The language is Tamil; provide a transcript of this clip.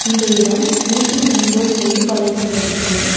இந்த இடம் ஊட்டி மெயின் ரோட் மேட்டுப்பாளையத்துல இருக்கு.